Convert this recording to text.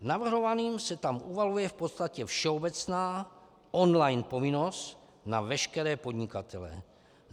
Navrhovaným se tam uvaluje v podstatě všeobecná online povinnost na veškeré podnikatele.